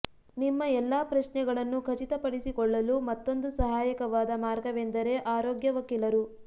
ನಿಮ್ಮ ಎಲ್ಲ ಪ್ರಶ್ನೆಗಳನ್ನು ಖಚಿತಪಡಿಸಿಕೊಳ್ಳಲು ಮತ್ತೊಂದು ಸಹಾಯಕವಾದ ಮಾರ್ಗವೆಂದರೆ ಆರೋಗ್ಯ ವಕೀಲರು